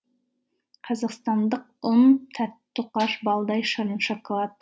қазақстандық ұн тәтті тоқаш балдай шырын шоколад